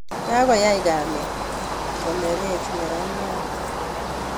Kakoyai kamet konerech neraniat